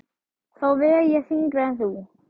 Þá veg ég þyngra en þú.